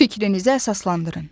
Fikrinizi əsaslandırın.